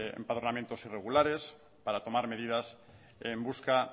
empadronamientos irregulares para tomar medidas en busca